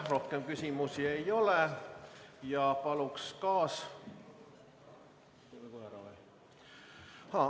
Rohkem küsimusi ei ole ja paluks kaas- ...